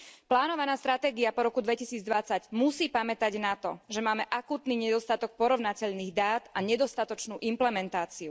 Plánovaná stratégia po roku 2020 musí pamätať na to, že máme akútny nedostatok porovnateľných dát a nedostatočnú implementáciu.